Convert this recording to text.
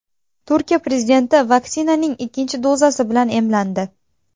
Turkiya prezidenti vaksinaning ikkinchi dozasi bilan emlandi.